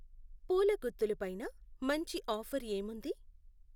పూల గుత్తులు పైన మంచి ఆఫర్ ఏముంది?